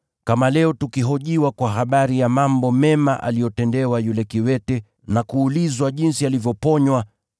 kama leo tukihojiwa kwa habari ya mambo mema aliyotendewa yule kiwete na kuulizwa jinsi alivyoponywa,